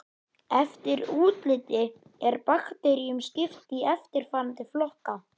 Eftir útliti er bakteríum skipt í eftirfarandi flokka